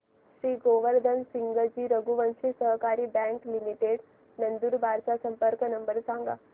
श्री गोवर्धन सिंगजी रघुवंशी सहकारी bank limited Nandurbar चा संपर्क नंबर सांगा